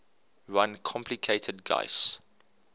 run complicated guis